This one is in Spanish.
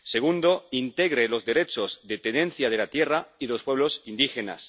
y, en segundo lugar, que integre los derechos de tenencia de la tierra y de los pueblos indígenas.